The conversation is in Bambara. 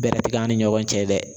Bɛrɛ tɛ k'an ni ɲɔgɔn cɛ dɛ